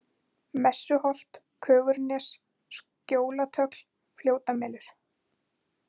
Messuholt, Kögurnes, Skjólatögl, Fljótamelur